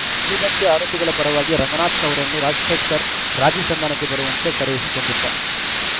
ಉಳಿದಂತೆ ಆರೋಪಿಗಳ ಪರವಾಗಿ ರಂಗನಾಥ್‌ ಅವರನ್ನು ರಾಜಶೇಖರ್‌ ರಾಜೀ ಸಂಧಾನಕ್ಕೆ ಬರುವಂತೆ ಕರೆಯಿಸಿಕೊಂಡಿದ್ದ